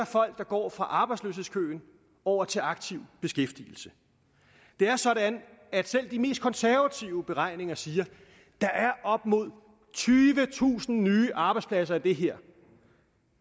folk der går fra arbejdsløshedskøen over til aktiv beskæftigelse det er sådan at selv de mest konservative beregninger siger at der er op mod tyvetusind nye arbejdspladser i det her